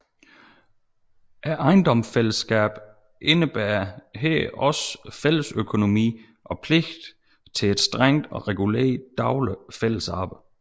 Ejendomsfællesskab indebar her også fællesøkonomi og pligt til et strengt reguleret dagligt fællesarbejde